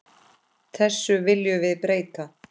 Þessu viljum við breyta.